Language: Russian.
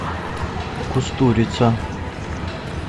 кустурица